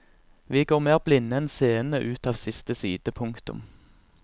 Vi går mer blinde enn seende ut av siste side. punktum